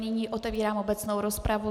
Nyní otevírám obecnou rozpravu.